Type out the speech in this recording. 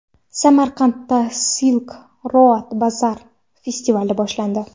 Samarqandda Silk Road Bazaar festivali boshlandi.